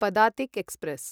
Padatik express